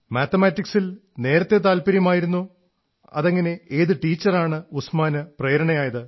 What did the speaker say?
മാത്തമാറ്റിക്സിൽ നേരത്തേ താത്പര്യമായിരുന്നോ അതെങ്ങനെ ഏതു ടീച്ചറാണ് ഉസ്മാന് പ്രേരണയായത്